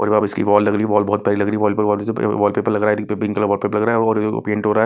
और यह इसकी वॉल लग रही है वॉल बहुत प्यारी लग रही है वॉलपेर --वॉलपेपर लग रहा है पिंक कलर वॉलपेपर लग रहा है और पेंट हो रहा है।